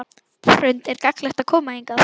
Hrund: Er gagnlegt að koma hingað?